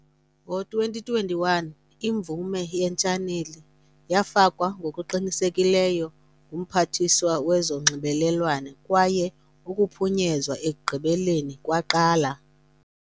Ngo-2021, imvume yetshaneli yafakwa ngokuqinisekileyo nguMphathiswa wezoNxibelelwano kwaye ukuphunyezwa ekugqibeleni kwaqala.